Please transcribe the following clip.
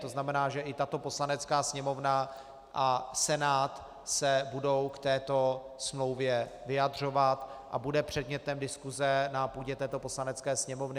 To znamená, že i tato Poslanecká sněmovna a Senát se budou k této smlouvě vyjadřovat a bude předmětem diskuse na půdě této Poslanecké sněmovny.